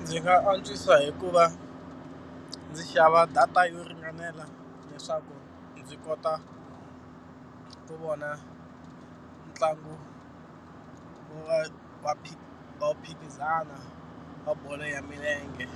Ndzi nga antswisa hi ku va ndzi xava data yo ringanela leswaku ndzi kota ku vona ntlangu va va va mphikizano wa bolo ya milenge.